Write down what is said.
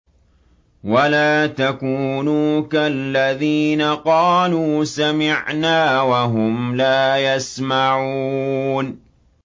وَلَا تَكُونُوا كَالَّذِينَ قَالُوا سَمِعْنَا وَهُمْ لَا يَسْمَعُونَ